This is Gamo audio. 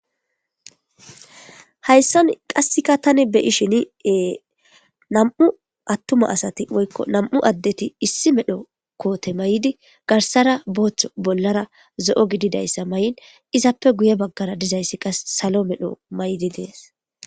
hayssan qassika tani beyishiniee nam7u attuma asati woykko nam7u addeti issi medho koote may7di garsara booththo bollara zo7o gididayssa may7in izappe guye baggara dizayssi qa salo medho may7di dees